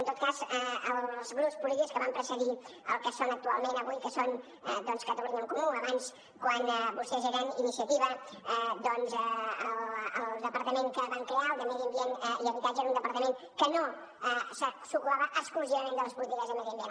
en tot cas els grups polítics que van precedir els que són actualment avui que són doncs catalunya en comú abans quan vostès eren iniciativa el departament que van crear el de medi ambient i habitatge era un departament que no s’ocupava exclusivament de les polítiques de medi ambient